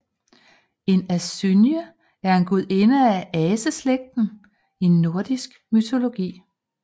En asynje er en gudinde af aseslægten i nordisk mytologi